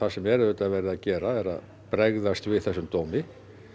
sem er auðvitað verið að gera er að bregðast við þessum dómi